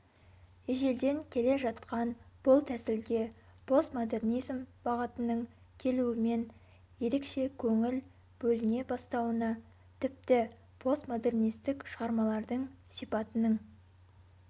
ежелден келе жатқан бұл тәсілге постмодернизм бағытының келуімен ерекше көңіл бөліне бастауына тіпті постмодернистік шығармалардың сипатының